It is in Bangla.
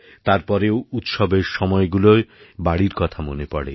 তারপরেও উৎসবের সময়গুলোয় বাড়ির কথা মনে পড়ে